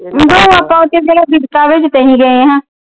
ਓਦੋ ਆਪਾ ਕਿਸੇ ਬਿਪਤਾ ਵਿਚ ਤਾ ਅਸੀ ਗਏ ਹਾਂ।